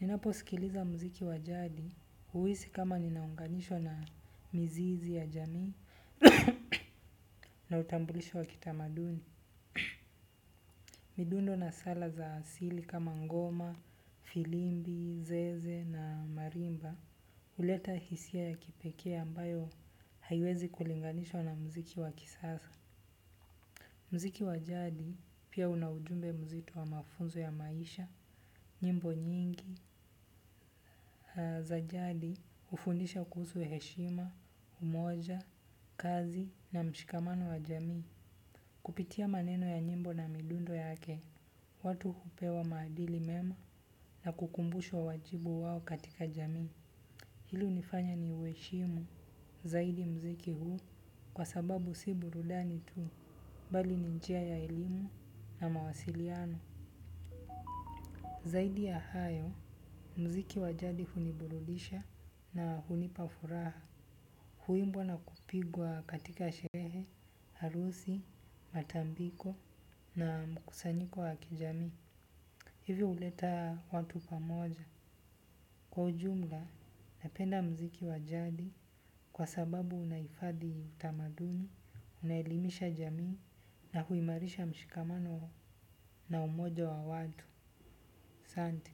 Ninapo sikiliza muziki wa jadi huhisi kama ninaunganisho na mizizi ya jamii na utambulisho wakita maduni. Midundo na sala za asili kama ngoma firimbi zeze na marimba, huleta hisia ya kipekee ambayo haiwezi kulinganishwa na muziki wa kisasa. Muziki wa jadi pia una ujumbe mzitu wa mafunzo ya maisha, nyimbo nyingi, za jadi hufundisha kuhusu heshima, umoja, kazi na mshikamano wa jamii. Kupitia maneno ya nyimbo na midundo yake, watu hupewa maadili mema na kukumbushwa wajibu wao katika jamin. Hili hunifanya ni uheshimu zaidi muziki huu kwa sababu si burudani tu, bali ni njia ya elimu na mawasiliano. Zaidi ya hayo, muziki wa jadi huniburudisha na hunipa furaha. Huimbwa na kupigwa katika sherehe, harusi, matambiko na mkusanyiko wakijamii. Hivi huleta watu pamoja. Kwa ujumla, napenda muziki wajadi kwa sababu unahifadhi utamaduni, unaelimisha jamii na huimarisha mshikamano na umoja wa watu. Asante.